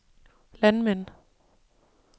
landmænd